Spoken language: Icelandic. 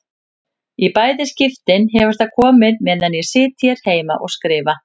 Í bæði skiptin hefur það komið meðan ég sit hér heima og skrifa.